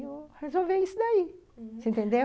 E eu resolvi isso daí, você entendeu?